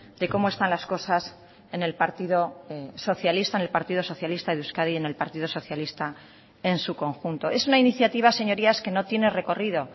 de cómo están las cosas en el partido socialista en el partido socialista de euskadi en el partido socialista en su conjunto es una iniciativa señorías que no tiene recorrido